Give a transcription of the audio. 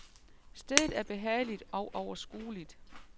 Stedet er behageligt og overskueligt.